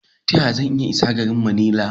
Ta yaya zan iya isa garin Manila?